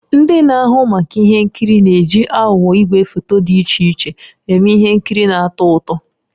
Ndị na-ahụ maka ihe nkiri na-eji aghụghọ igwefoto dị iche iche eme ihe nkiri na-atọ ụtọ.